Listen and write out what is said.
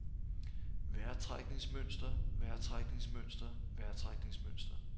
vejrtrækningsmønster vejrtrækningsmønster vejrtrækningsmønster